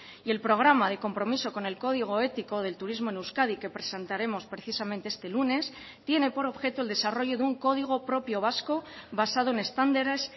y el programa de compromiso con el código ético del turismo en euskadi que presentaremos precisamente este lunes tiene por objeto el desarrollo de un código propio vasco basado en estándares